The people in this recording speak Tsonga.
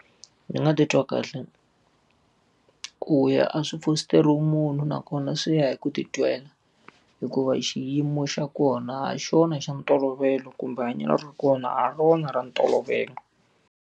Ni nga titwa kahle. Ku ya a swi fositeriwi munhu nakona swi ya hi ku titwela hikuva xiyimo xa kona ha xona xa ntolovelo kumbe hanyelo ra kona a hi rona ra ntolovelo.